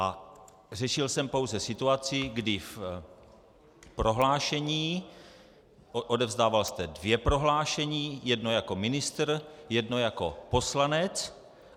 A řešil jsem pouze situaci, kdy v prohlášení - odevzdával jste dvě prohlášení, jedno jako ministr, jedno jako poslanec.